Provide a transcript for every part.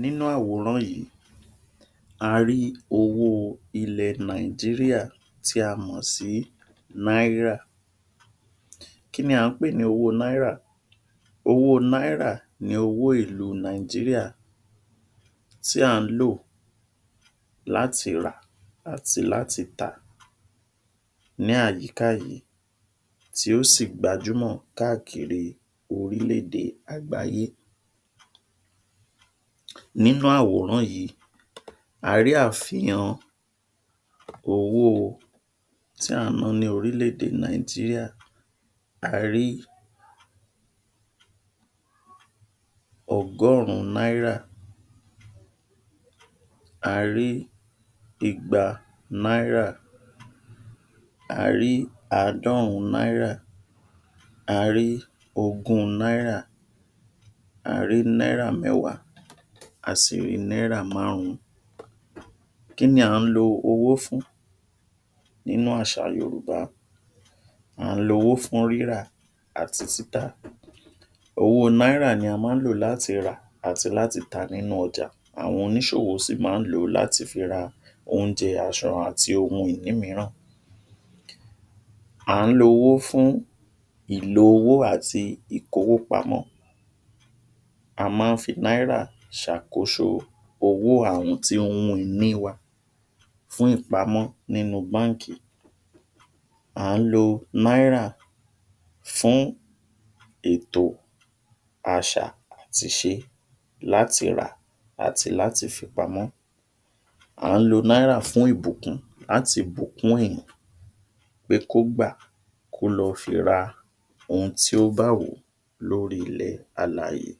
nínú àwòrán yìí a rí owó ilẹ̀ Nàìjíríà tí a mọ̀ sí Náírà kíni à ń pè ní owó Náírà owó Náírà ní owó ìlú Nàìjíríà tí à ń lò láti rà àti láti tà ní àyíká yìí tí ó ṣì gbajúmọ̀ káàkiri orílẹ̀ èdè àgbáyé nínú àwòrán yìí a rí àfihàn owó o ti à ń ná ní orílẹ̀ èdè Nàìjíríà a ríi ọgọ́rùn-ún Náírà a rí í igba Náírà a rí àádọ́rùn-ún Náírà a rí ogún Náírà a rí Náírà mẹ́wàá a sì rí Náírà márùn-ún kíni à ń lo owó fún? nínú àṣà Yorùbá à ń lo owó fún rírà àti títà owó Náírà ni a má ń lò láti rà à ti láti tà nínú ọjà àwọn oníṣòwò sì ma ń lòó láti fi ra oúnjẹ, asọ àti ohun ìní mìíràn à ń lo owó fún ìlò owó àti ìkówó pamọ́ a má a ń fi Náírà ṣàkóso owó àti ohun ìní wa fún ìpamọ́ nínú Báńkì à ń lo Náírà fún ètò àṣà ati ìṣe láti rà àti láti fi pamọ́ à ń lo Náírà fún ìbùkún láti bùkùn ènìyàn pé kó gbà kó lọ fi ra ohun tí ó bá wù ú lórí ilẹ̀ alààyè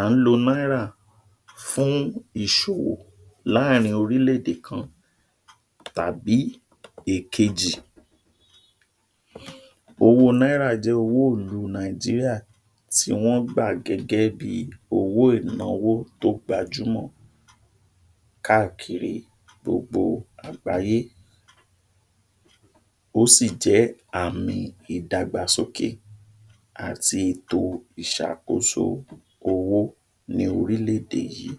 à ń lo Náírà fún ìṣòwò láàrin orílẹ̀ èdè kan tàbí èkejì owó Náírà jẹ́ owó ìlú Nàìjíríà tí wọ́n gbà gẹ́gẹ́ bíi owó ìnáwó tó gbajúmọ̀ káàkiri gbogbo àgbáyé ó sì jẹ́ àmì ìdàgbàsókè àti to ìṣàkóso owó, ní orílẹ̀ èdè yìí